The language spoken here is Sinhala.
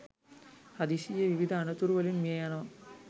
හදිසියේ විවිධ අනතුරු වලින් මිය යනවා